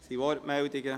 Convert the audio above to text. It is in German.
Gibt es Wortmeldungen?